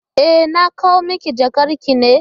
E, na kawo maki jakarki ne.